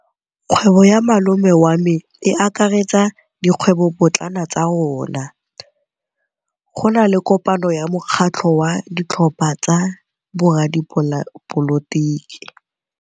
Kgwêbô ya malome wa me e akaretsa dikgwêbôpotlana tsa rona. Go na le kopanô ya mokgatlhô wa ditlhopha tsa boradipolotiki.